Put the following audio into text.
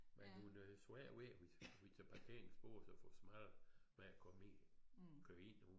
Men hun har svært ved at til parkingsbås og få svært ved at komme i og køre ind hun